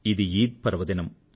ఇది ఈద్ పర్వదినం